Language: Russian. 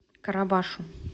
карабашу